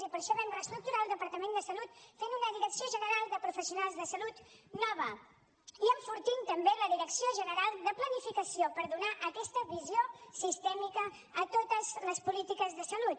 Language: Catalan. i per això vam reestructurar el departament de salut fent una direcció general de professionals de salut nova i enfortint també la direcció general de planificació per donar aquesta visió sistèmica a totes les polítiques de salut